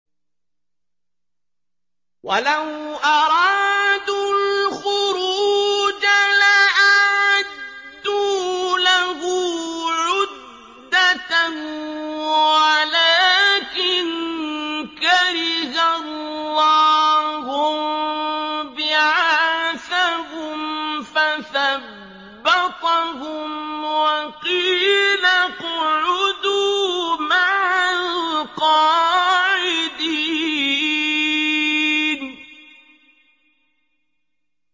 ۞ وَلَوْ أَرَادُوا الْخُرُوجَ لَأَعَدُّوا لَهُ عُدَّةً وَلَٰكِن كَرِهَ اللَّهُ انبِعَاثَهُمْ فَثَبَّطَهُمْ وَقِيلَ اقْعُدُوا مَعَ الْقَاعِدِينَ